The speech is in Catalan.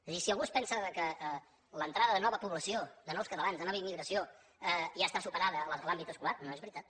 és a dir si algú es pensa ara que l’entrada de nova població de nous catalans de nova immigració ja està superada a l’àmbit escolar no és veritat